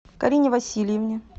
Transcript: карине васильевне